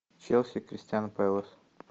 челси кристал пэлас